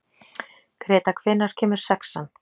Greta, hvenær kemur sexan?